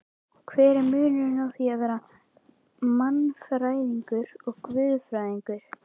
Hver er munurinn á því að vera mannfræðingur og guðfræðingur?